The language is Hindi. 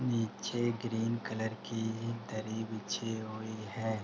नीचे ग्रीन कलर की एक दरी बिछी हुई है।